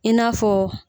I n'a fɔ